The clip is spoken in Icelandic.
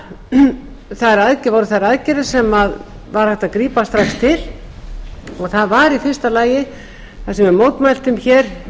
voru þær aðgerðir sem var hægt að grípa strax til það var í fyrsta lagi að það sem við mótmæltum hér